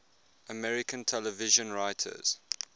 american television writers